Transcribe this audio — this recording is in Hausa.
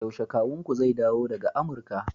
yaushe kawunku zai dawo daga Amurka